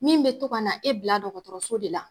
Min be to ka na e bila dɔgɔtɔrɔso de la